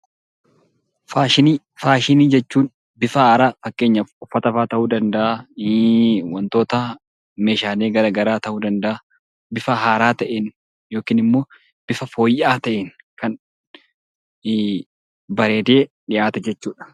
Faashinii Faashinii jechuun bifa haaraa fakkeenyaaf uffata fa'aa ta'uu danda'aa, wantoota meeshaalee gara garaa ta'uu danda'aa, bifa haaraa ta'een yookiin immoo bifa fooyya'aa ta'een kan bareedee dhiyaatu jechuu dha.